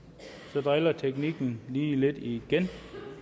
så driller teknikken lige lidt igen